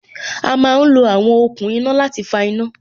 A má lo àwọn okùn iná láti fa iná